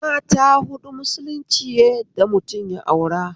Mata huɗu musulunci ya yadda mutum ya aura